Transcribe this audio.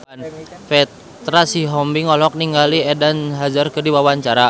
Petra Sihombing olohok ningali Eden Hazard keur diwawancara